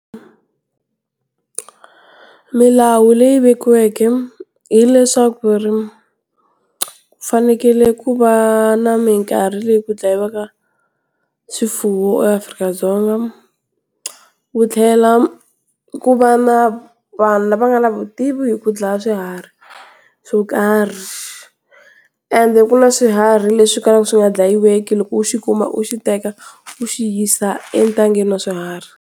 Milawu leyi vekiweke hileswaku ri, ku fanekele ku va na minkarhi leyi ku dlayiwaka swifuwo eAfrika-Dzonga. Wu tlhela, ku va na vanhu lava nga na vutivi hi ku dlaya swiharhi, swo karhi. Ende ku na swiharhi leswi kalaku swi nga dlayiweki loko u xi kuma u xi teka, u xi yisa entangeni wa swiharhi.